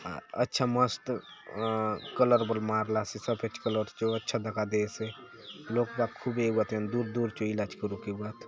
अच्छा मस्त अ कलर बले मारलासे सफ़ेद कलर चो अच्छा दखा देयसे लोग बाग खूबे एउआत एवं दूर-दूर चो ईलाज करुक एउआत।